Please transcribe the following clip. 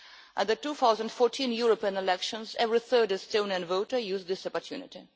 In the 2014 European elections, every third Estonian voter used this opportunity.